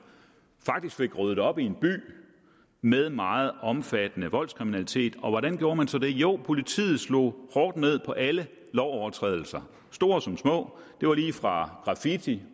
faktisk fik ryddet op i en by med meget omfattende voldskriminalitet og hvordan gjorde man så det jo politiet slog hårdt ned på alle lovovertrædelser store som små det var lige fra graffiti